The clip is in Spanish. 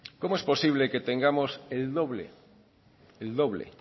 cómo es posible que tengamos el doble